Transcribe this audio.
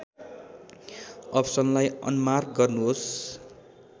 अप्सनलाई unmark गर्नुहोस्